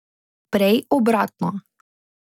Prej obratno.